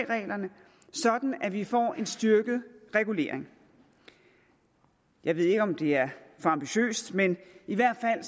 reglerne sådan at vi får en styrket regulering jeg ved ikke om det er for ambitiøst men i hvert fald